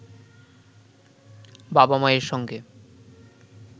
বাবা-মায়ের সঙ্গে